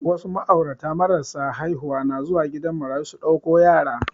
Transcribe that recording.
Wasu ma'aurata marasa haihuwa na zuwa gidan marayu su ɗauko yara